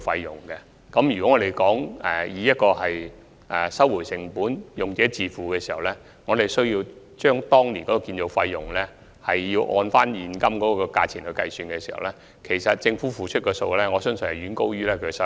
如果按"收回成本"及"用者自付"的原則計算當年的建造成本的現今價值，我相信政府所付出的數額遠高於其收入。